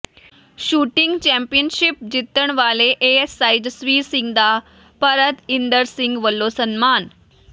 shooting championship ਜਿੱਤਣ ਵਾਲੇ ASI Jasvir Singh ਦਾ ਭਰਤ ਇੰਦਰ ਸਿੰਘ ਵੱਲੋਂ ਸਨਮਾਨ